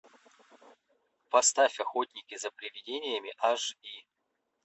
поставь охотники за привидениями аш ди